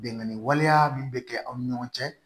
Bɛnkanni waleya min bɛ kɛ aw ni ɲɔgɔn cɛ